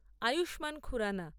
Ayushman Khurrana